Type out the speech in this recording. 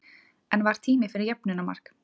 En var tími fyrir jöfnunarmark?